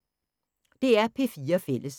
DR P4 Fælles